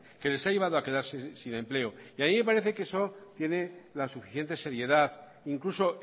que les ha llevado a quedarse sin empleo a mí me parece que eso tiene la suficiente seriedad incluso